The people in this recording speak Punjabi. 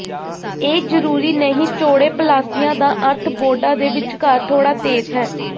ਇਹ ਜ਼ਰੂਰੀ ਨਹੀਂ ਚੌੜੇ ਪਲਾਸਿਆਂ ਦਾ ਅਰਥ ਬੋਰਡਾਂ ਦੇ ਵਿਚਕਾਰ ਥੋੜਾ ਤੇਜ਼ ਹੈ